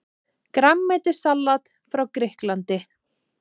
Grænmetissalat frá Grikklandi